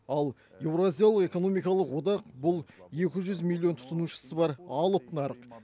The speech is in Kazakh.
ал еуразиялы экономикалық одақ бұл екі жүз миллион тұтынушысы бар алып нарық